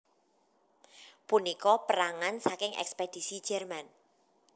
Punika perangan saking ekspedisi Jerman